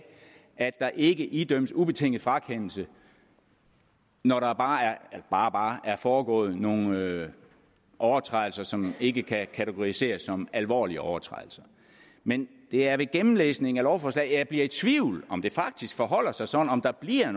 at der ikke idømmes ubetinget frakendelse når der bare er bare er foregået nogle overtrædelser som ikke kan kategoriseres som alvorlige overtrædelser men det er ved gennemlæsning af lovforslaget at jeg bliver i tvivl om det faktisk forholder sig sådan om der bliver